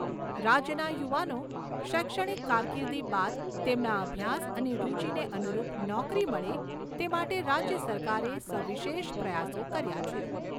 રાજ્યના યુવાનો શૈક્ષણિક કારકિર્દી બાદ તેમના અભ્યાસ અને રૂચિને અનુરૂપ નોકરી મળે તે માટે રાજ્ય સરકારે સવિશેષ પ્રયાસો કર્યા છે.